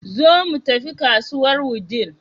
Zo mu tafi kasuwar Wudil.